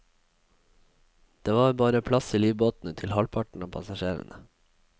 Det var bare plass i livbåtene til halvparten av passasjerene.